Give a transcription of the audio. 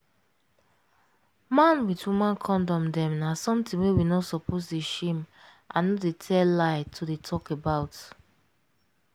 man with woman kondom dem na something wey we no suppose dey shame and no dey tell lie to dey talk about.